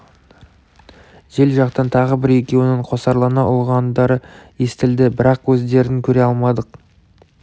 жел жақтан тағы бір-екеуінің қосарлана ұлығандары естілді бірақ өздерін көре алмадық